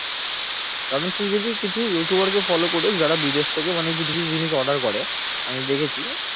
কারণ তুই যদি কিছু you tuber কে follow করে যারা বিদেশ থেকে মানে কিছু কিছু জিনিস order করে আমি দেখেছি